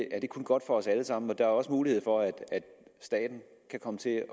er det kun godt for os alle sammen og der er også mulighed for at staten kan komme til